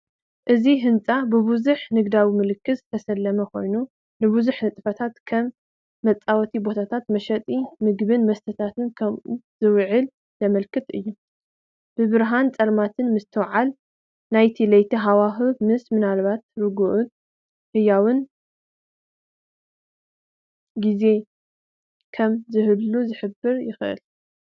እቲ ህንጻ ብብዙሕ ንግዳዊ ምልክታት ዝተሰለመ ኮይኑ ንብዙሕ ንጥፈታት ከም መጻወቲ ቦታን መሸጢ መግብን መስተታትን ከም ዝውዕል ዘመልክት እዩ። ብርሃንን ጸልማትን ምትሕውዋስ ናይ ለይቲ ሃዋህው ወይ ምናልባት ርጉእን ህያውን ግዜ ከም ዝህሉ ክሕብር ይኽእል።